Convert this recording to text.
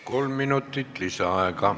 Kolm minutit lisaaega.